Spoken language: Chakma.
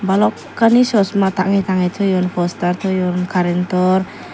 balokani sosma tangey tangey toyun poster toyun karentor.